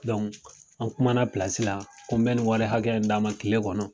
an kumana la ko n bɛ nin wari hakɛ d'a ma kile kɔnɔ.